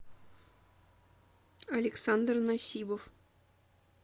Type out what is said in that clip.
александр насибов